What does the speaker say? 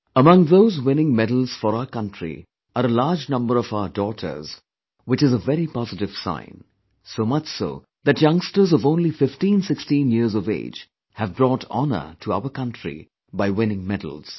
Among those winning medals for our country are a large number of our daughters which is a very positive sign; so much so, that youngsters of only 1516 years of age have brought honour to our country by winning medals